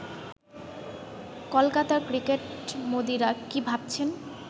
কলকাতার ক্রিকেটমোদিরা কি ভাবছেন